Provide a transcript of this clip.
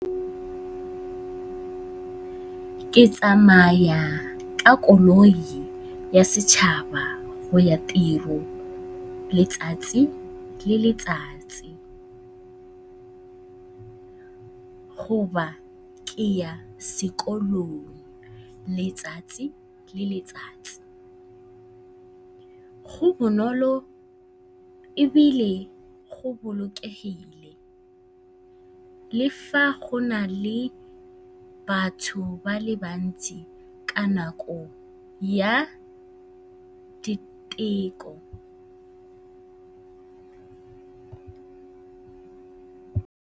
Ke tsamaya ka koloi ya setšhaba go ya tirong letsatsi le letsatsi kgotsa ke ya sekolong letsatsi le letsatsi. Go bonolo ebile go bolokegile le fa go na le batho ba le bantsi ka nako ya diteko.